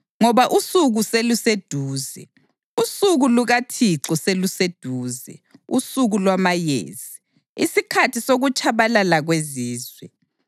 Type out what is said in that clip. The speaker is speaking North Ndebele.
Ngoba usuku seluseduze, usuku lukaThixo seluseduze usuku lwamayezi, isikhathi sokutshabalala kwezizwe.